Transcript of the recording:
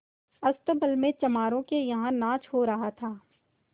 अस्तबल में चमारों के यहाँ नाच हो रहा था